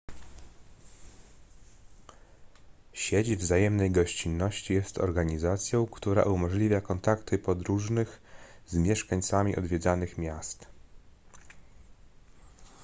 sieć wzajemnej gościnności jest organizacją która umożliwia kontakty podróżnych z mieszkańcami odwiedzanych miast